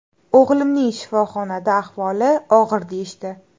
O‘g‘limni shifoxonada, ahvoli og‘ir deyishdi.